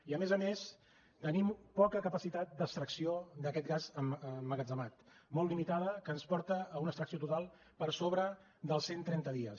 i a més a més tenim poca capacitat d’extracció d’aquest gas emmagatzemat molt limitada que ens porta a una extracció total per sobre dels cent trenta dies